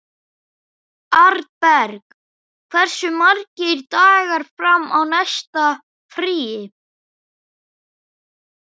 Arnberg, hversu margir dagar fram að næsta fríi?